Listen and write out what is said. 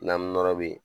Na nɔrɔ bɛ yen